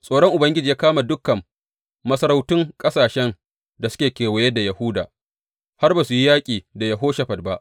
Tsoron Ubangiji ya kama dukan masarautun ƙasashen da suke kewaye da Yahuda, har ba su yi yaƙi da Yehoshafat ba.